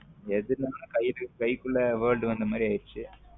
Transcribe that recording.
எதுனாலும் கை கைல குள்ள world வந்த மாரி ஆகிருச்சு.